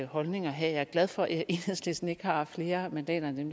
holdning at have jeg er glad for at enhedslisten ikke har flere mandater end